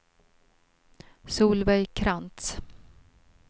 Solveig Krantz